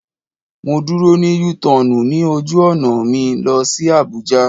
Mo dúró ní U tọọnu ní ojú ọ̀nà mi lọ sí Abuja